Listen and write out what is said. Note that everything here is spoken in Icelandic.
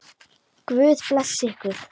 Guð blessi ykkur.